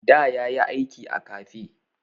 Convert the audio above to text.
Da ya yi aiki a kafe.